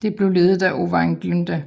Det blev ledet af Owain Glyndwr